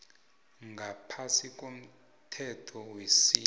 ngaphasi komthetho wesintu